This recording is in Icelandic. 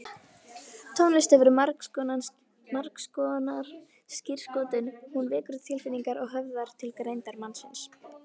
Tónlist hefur margskonar skírskotun, hún vekur tilfinningar og höfðar til greindar mannsins.